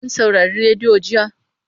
Kun saurari rediyo jiya?